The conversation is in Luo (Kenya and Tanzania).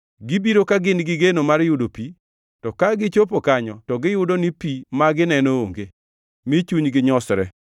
Gibiro ka gin gi geno mar yudo pi, to ka gichopo kanyo to giyudo ni pi ma gineno onge, mi chunygi nyosre.